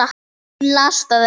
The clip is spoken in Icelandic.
Hún las það ekki.